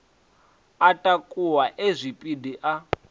a takuwa e zwipidi a